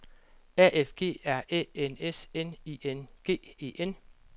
A F G R Æ N S N I N G E N